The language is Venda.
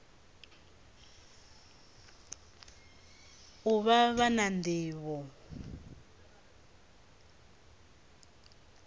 u vha vha na nḓivho